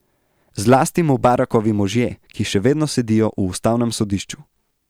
Zlasti Mubarakovi možje, ki še vedno sedijo v ustavnem sodišču.